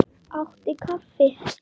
Áttu kaffi?